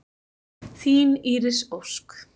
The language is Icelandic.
Þín Íris Ósk.